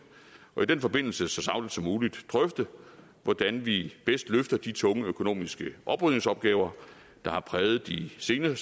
og i den forbindelse så sagligt som muligt drøfte hvordan vi bedst løfter de tunge økonomiske oprydningsopgaver der har præget de senere